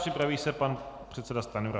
Připraví se pan předseda Stanjura.